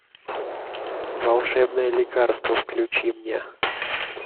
волшебное лекарство включи мне